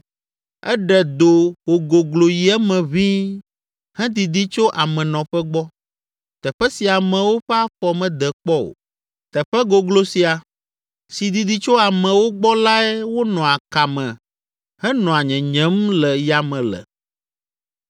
Eɖe do wògoglo yi eme ʋĩi hedidi tso amenɔƒe gbɔ, teƒe si amewo ƒe afɔ mede kpɔ o; teƒe goglo sia, si didi tso amewo gbɔ lae wonɔa ka me henɔa nyenyem le yame le.